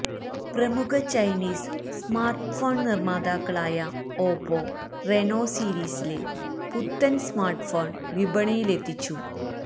പ്രമുഖ Chinese smartphone നിര്മാതാക്കളായ Oppo Reno സീരീസില് പുത്തന് സ്മാര്ട്ട്ഫോണ് വിപണിയിലെത്തിച്ചു